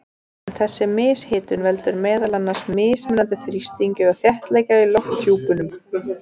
En þessi mishitun veldur meðal annars mismunandi þrýstingi og þéttleika í lofthjúpnum.